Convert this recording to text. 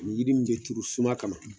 Ni yiri min be turu suma kama